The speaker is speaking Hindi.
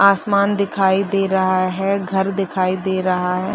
आसमान दिखाई दे रहा है घर दिखाई दे रहा है।